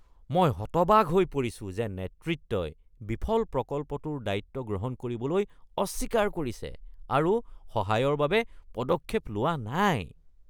মই হতবাক হৈ পৰিছো যে নেতৃত্বই বিফল প্ৰকল্পটোৰ দায়িত্ব গ্ৰহণ কৰিবলৈ অস্বীকাৰ কৰিছে আৰু সহায়ৰ বাবে পদক্ষেপ লোৱা নাই।